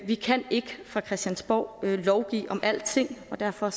vi kan ikke fra christiansborg lovgive om alting og derfor